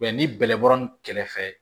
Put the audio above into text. ni bɛlɛbɔra ni kɛrɛfɛ